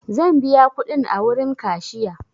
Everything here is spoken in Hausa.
Zan biya kuɗin a wurin kashiya.